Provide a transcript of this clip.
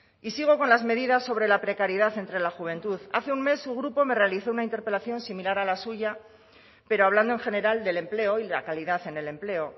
y sigo con las medidas sobre la precariedad entre la juventud hace un mes su grupo me realizó una interpelación similar a la suya pero hablando en general del empleo y la calidad en el empleo